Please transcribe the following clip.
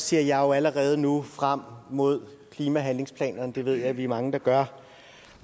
ser jeg jo allerede nu frem mod klimahandlingsplanerne og det ved jeg at vi er mange der gør